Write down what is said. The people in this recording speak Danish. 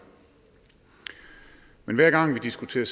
men hver gang vi diskuterer